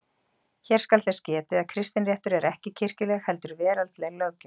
Hér skal þess getið að kristinréttur er ekki kirkjuleg heldur veraldleg löggjöf.